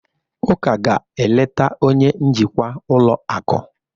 Uka ga-eleta onye njikwa ụlọ akụ.